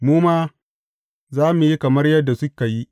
Mu ma za mu yi kamar yadda suka yi.